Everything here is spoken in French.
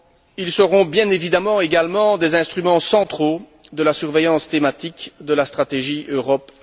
Ils seront bien évidemment également des instruments centraux de la surveillance thématique de la stratégie Europe